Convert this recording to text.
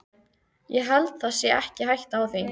Ég held það sé ekki hætta á því.